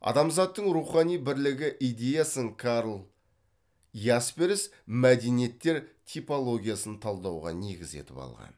адамзаттың рухани бірлігі идеясын карл ясперс мәдениеттер типологиясын талдауға негіз етіп алған